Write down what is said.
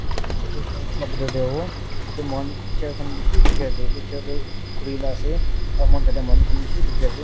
itu picture toh church la bitor teh howo tateh mohan chair khan bishi dikhi ase itu chair tu khuri la ase aro mohan tateh manu khan bishi dikhi ase.